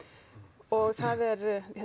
og það er